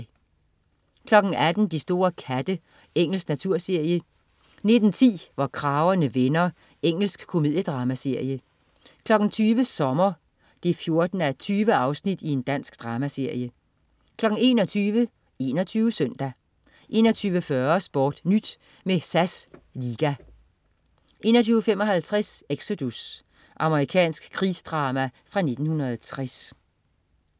18.00 De store katte. Engelsk naturserie 19.10 Hvor kragerne vender. Engelsk komediedramaserie 20.00 Sommer 14:20. Dansk dramaserie 21.00 21 Søndag 21.40 SportNyt med SAS Liga 21.55 Exodus. Amerikansk krigsdrama fra 1960